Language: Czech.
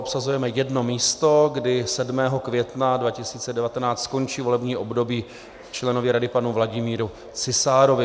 Obsazujeme jedno místo, kdy 7. května 2019 skončí volební období členovi rady panu Vladimíru Cisárovi.